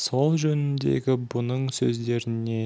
сол жөніндегі бұның сөздеріне